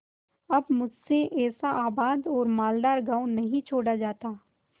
अब मुझसे ऐसा आबाद और मालदार गॉँव नहीं छोड़ा जाता